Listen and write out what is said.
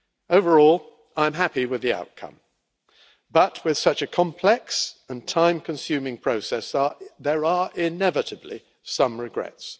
Overall, I am happy with the outcome but, with such a complex and time-consuming process, there are inevitably some regrets.